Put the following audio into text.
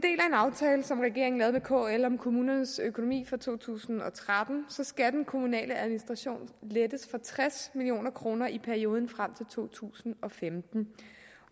aftale som regeringen lavede med kl om kommunernes økonomi for to tusind og tretten skal den kommunale administration lettes for tres million kroner i perioden frem til to tusind og femten